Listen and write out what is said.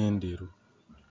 enderu